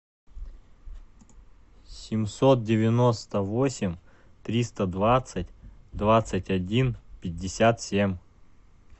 семьсот девяносто восемь триста двадцать двадцать один пятьдесят семь